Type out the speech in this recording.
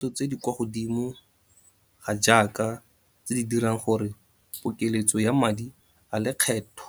Ditlhotlhwa tsa dithoto tse di kwa godimo ga jaaka, tse di dirang gore pokeletso ya madi a lekgetho